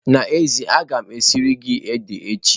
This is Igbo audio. N'ezie, a ga m esiri gị ede echi.